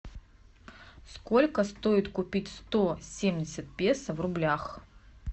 сколько стоит купить сто семьдесят песо в рублях